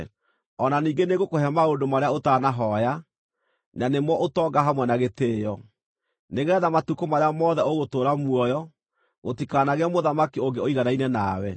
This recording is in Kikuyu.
O na ningĩ nĩngũkũhe maũndũ marĩa ũtanahooya, na nĩmo ũtonga hamwe na gĩtĩĩo, nĩgeetha matukũ marĩa mothe ũgũtũũra muoyo, gũtikanagĩe mũthamaki ũngĩ ũiganaine nawe.